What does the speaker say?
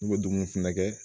N'u bɛ dumuni fɛnɛ kɛ